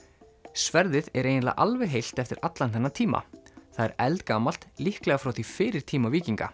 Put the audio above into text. sverðið er eiginlega alveg heilt eftir allan þennan tíma það er eldgamalt líklega frá því fyrir tíma víkinga